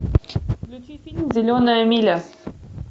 включи фильм зеленая миля